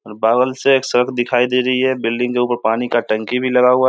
और से एक दिखाई दे रही है बिल्डिंग जो ऊपर पानी का टंकी भी लगा हुआ --